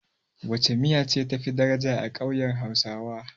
Wacce miya ce tafi daraja a ƙauyen hausawa?